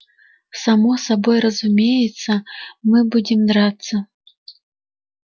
само собой разумеется мы будем драться